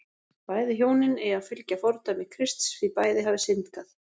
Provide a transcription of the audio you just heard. Bæði hjónin eigi að fylgja fordæmi Krists því bæði hafi syndgað.